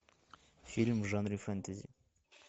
фильм в жанре фэнтези